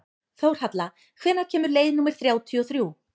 Þórhalla, hvenær kemur leið númer þrjátíu og þrjú?